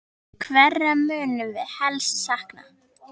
Hverra munum við helst sakna?